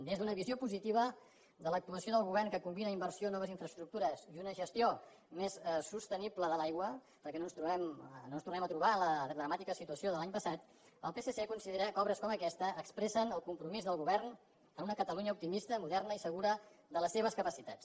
des d’una visió positiva de l’actuació del govern que combina inversió noves infraestructures i una gestió més sostenible de l’aigua perquè no ens tornem a trobar en la dramàtica situació de l’any passat el psc considera que obres com aquesta expressen el compromís del govern amb una catalunya optimista moderna i segura de les seves capacitats